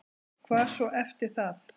Hvað svo eftir það?